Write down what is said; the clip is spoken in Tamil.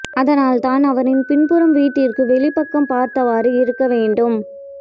அதனால் தான் அவரின் பின்புறம் வீட்டிற்கு வெளிப்பக்கம் பார்த்தவாறு இருக்க வேண்டும்